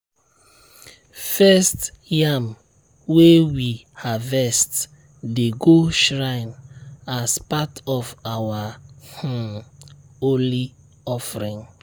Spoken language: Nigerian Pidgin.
first yam wey we harvest dey go shrine as part of our um holy offering.